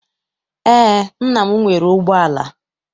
Eé, nna m nwere ụgbọala.